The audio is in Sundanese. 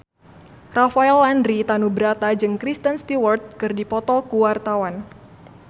Rafael Landry Tanubrata jeung Kristen Stewart keur dipoto ku wartawan